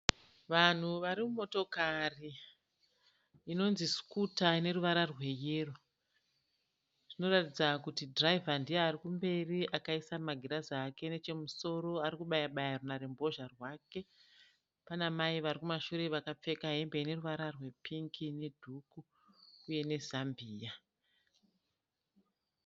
Vanhu vari mumotokari inonzi sukuta. Ine ruvara rweyero. Zvinoratidza kuti dhiraivha ndiye ari kumberi akaisa magirazi ake nechemusoro ari kubaya baya runharembozha rwake. Pana mai vari kumashure vakapfeka hembe ine ruvara rwepingi nedhuku uye nezambiya.